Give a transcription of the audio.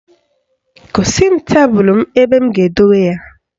Gosi m tebelu ebe m ga-edobe ya